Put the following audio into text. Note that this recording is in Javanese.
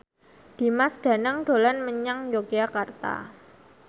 Dimas Danang dolan menyang Yogyakarta